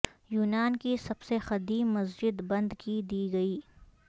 یونان کی سب سے قدیم مسجد بند کی دی گئی